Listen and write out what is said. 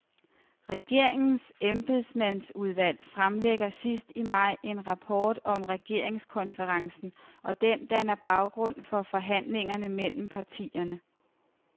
Regeringens embedsmandsudvalg fremlægger sidst i maj en rapport om regeringskonferencen, og den danner baggrund for forhandlingerne mellem partierne.